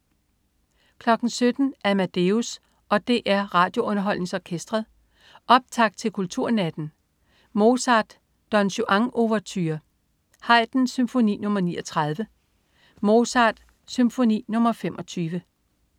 17.00 Amadeus og DR RadioUnderholdningsOrkestret. Optakt til Kulturnatten. Mozart: Don Juan-ouverture. Haydn: Symfoni nr. 39. Mozart: Symfoni nr. 25